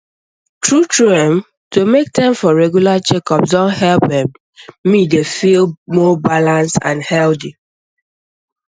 truetrue um to make time for regular checkups don help um me dey feel more balanced and healthy